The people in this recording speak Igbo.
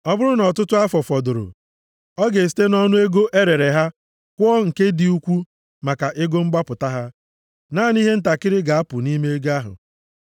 Ọ bụrụ nʼọtụtụ afọ fọdụrụ, ọ ga-esite nʼọnụ ego e rere ha kwụọ nke dị ukwu dịka ego mgbapụta ha. Naanị ihe ntakịrị ga-apụ nʼime ego ahụ.